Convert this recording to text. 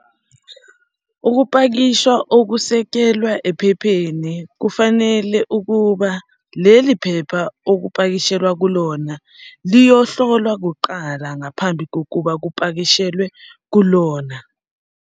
Ukupakisha okusekelwa ephepheni kufanele ukuba leli phepha okupakishelwa kulona liyohlolwa kuqala ngaphambi kokuba kupakishelwe kulona.